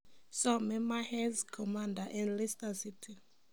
Somee Mahrez komanda en Leicester City